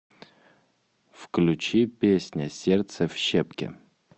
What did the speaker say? включи песня сердце в щепки